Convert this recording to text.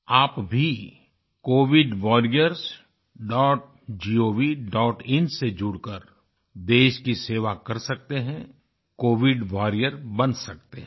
आप भी covidwarriorsgovin से जुड़कर देश की सेवा कर सकते हैं कोविड वारियर बन सकते हैं